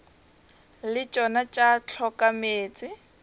le tšona tša hloka meetse